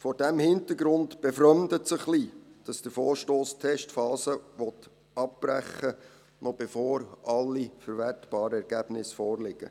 Vor diesem Hintergrund befremdet es ein wenig, dass der Vorstoss die Testphase abbrechen will, noch bevor alle verwertbaren Ergebnisse vorliegen.